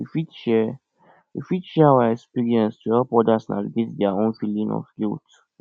we fit share we fit share our experiences to help others navigate their own feelings of guilt